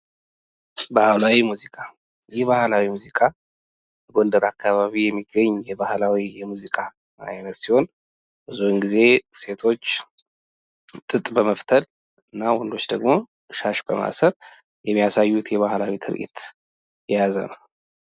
ባህላዊ ሙዚቃ ይህ ባህላዊ ሙዚቃ ጎንደር አካባቢ የሚገኝ የባህላዊ ሙዚቃ አይነት ሲሆን ብዙን ጊዜ ሴቶች ጥጥ በመፍተል እና ወንዶች ደግሞ ሻሽ በማሰር የሚያሳዩት የባህላዊ ትርኢት የያዘ ነው።